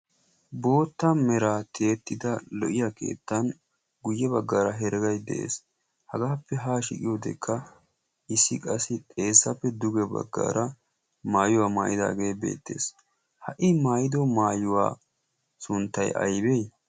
bootta meraa tiyettida lo77iya keettan guyye baggaara heregay de7ees. hagaappe haashi giyoodekka issi qassi xeesappe duge baggaara maayuwaa maayidaagee beettees ha i maayido maayuwaa sunttay aybbee?